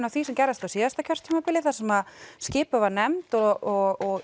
af því sem gerðist á síðasta kjörtímabili þar sem skipuð var nefnd og